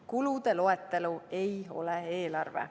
Kulude loetelu ei ole eelarve.